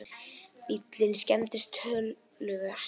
Bíllinn skemmdist töluvert